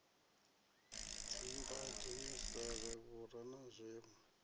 dzimbado misevhe vhura na zwinwe